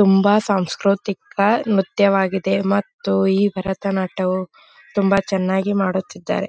ತುಂಬ ಸಾಂಸ್ಕ್ರತಿಕ ನ್ರತ್ಯವಾಗಿದೆ ಮತ್ತು ಈ ಭರತನಾಟ್ಯವು ತುಂಬ ಚೆನ್ನಾಗಿ ಮಾಡುತ್ತಿದ್ದಾರೆ .